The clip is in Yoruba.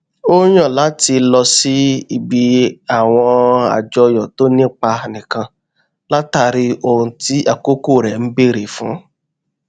ó yàn láti lọ síbi àwọn àjọyọ tó ní ipa nìkan látàrí ohun tí àkókò rẹ n bèrè fún